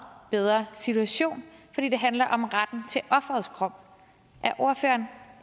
bedre situation fordi det handler om retten til offerets krop er ordføreren